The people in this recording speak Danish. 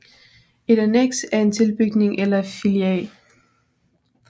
Et anneks er en tilbygning eller filial